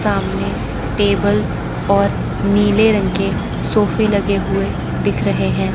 सामने टेबल्स और नीले रंग के सोफे लगे हुए दिख रहे हैं।